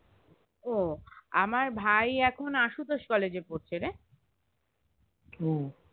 ও আমার ভাই এখন আশুতোষ কলেজে পড়ছে রে